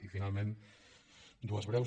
i finalment dues breus